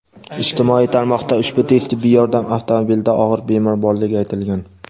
Ijtimoiy tarmoqda ushbu tez tibbiy yordam avtomobilida og‘ir bemor borligi aytilgan.